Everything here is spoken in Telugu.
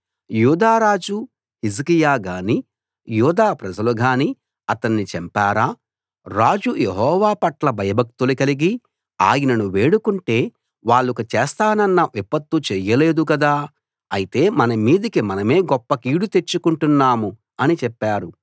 యూదా రాజు హిజ్కియా గానీ యూదా ప్రజలు గానీ అతణ్ణి చంపారా రాజు యెహోవా పట్ల భయభక్తులు కలిగి ఆయనను వేడుకుంటే వాళ్లకు చేస్తానన్న విపత్తు చేయలేదు కదా అయితే మన మీదికి మనమే గొప్ప కీడు తెచ్చుకుంటున్నాము అని చెప్పారు